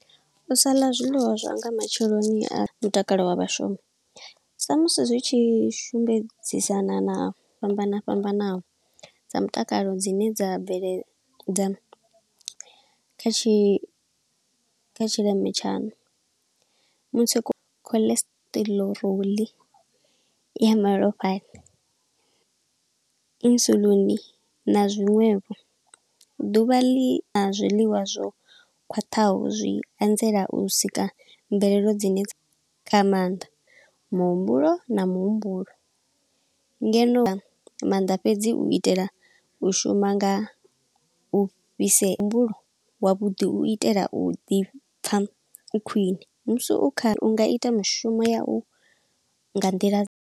U sa ḽa zwiḽiwa zwa nga matsheloni a mutakalo wa vhashumi, sa musi zwi tshi shumbedzisana na fhambana fhambanaho dza mutakalo dzine dza bveledza kha tshi kha tshileme tshaṋu. Mutsiko, cholesterol ya malofhani, insulin na zwiṅwevho. Ḓuvha ḽi a zwiḽiwa zwo khwaṱhaho zwi anzela u sika mvelelo dzine dza, kha maanḓa muhumbulo na muhumbulo. Ngeno maanḓa fhedzi u itela u shuma nga u fhisea, muhumbulo wa vhuḓi u itela u ḓi pfa u khwine. Musi u kha, u nga ita mushumo ya u nga nḓila.